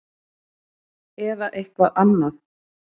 Eða eitthvað annað?